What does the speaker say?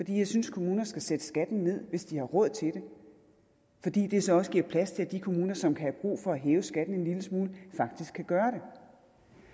jeg synes at kommuner skal sætte skatten ned hvis de har råd til det fordi det så også giver plads til at de kommuner som kan have brug for at hæve skatten en lille smule faktisk kan gøre